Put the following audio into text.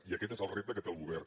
i aquest és el repte que té el govern